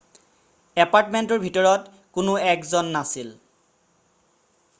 এপাৰ্টমেন্টটোৰ ভিতৰত কোনো 1 জন নাছিল